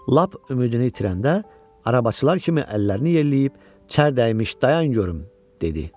Lap ümidini itirəndə arabıçılar kimi əllərini yelləyib: “Çər dəymiş, dayan görüm” dedi.